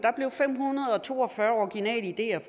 blev fem hundrede og to og fyrre originale ideer